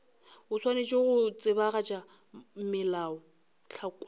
o swanetše go tsebagatša melaotlhakwa